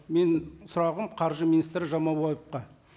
менің сұрағым қаржы министрі жамаубаевқа